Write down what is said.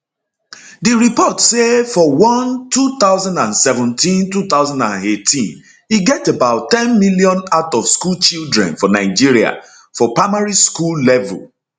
di report say for one 20172018 e get about ten million outofschool children for nigeria for primary school level